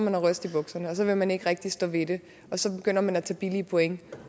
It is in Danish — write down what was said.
at ryste i bukserne så vil man ikke rigtig stå ved det og så begynder man at tage billige point